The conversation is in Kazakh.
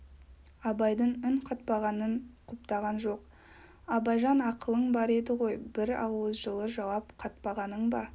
абайдың үн қатпағанын құптаған жоқ абайжан ақылың бар еді ғой бір ауыз жылы жауап қатпағаның ба